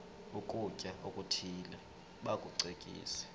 ukutya okuthile bakucekise